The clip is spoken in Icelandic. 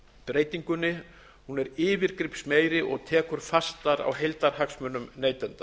breytingunni er yfirgripsmeiri og tekur fastar á heildarhagsmunum neytenda